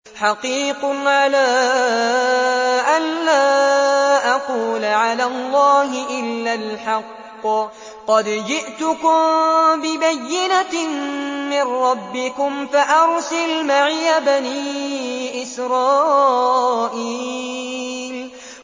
حَقِيقٌ عَلَىٰ أَن لَّا أَقُولَ عَلَى اللَّهِ إِلَّا الْحَقَّ ۚ قَدْ جِئْتُكُم بِبَيِّنَةٍ مِّن رَّبِّكُمْ فَأَرْسِلْ مَعِيَ بَنِي إِسْرَائِيلَ